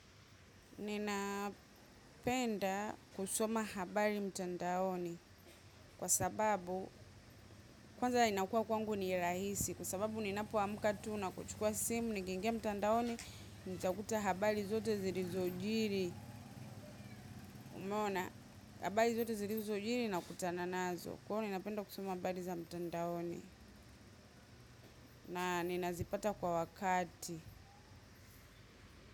Ninapenda kusoma habari mtandaoni kwa sababu kwanza inakua kwangu ni rahisi kwa sababu ninapoamka tu na kuchukua simu ningeningia mtandaoni nitakuta habari zote zirizojiri umeona habari zote zirizojiri nakutana nazo kwa hio ninapenda kusoma habari za mtandaoni na ninazipata kwa wakati.